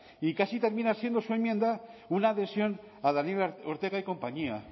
y casi termina siendo su enmienda una adhesión a daniel ortega y compañía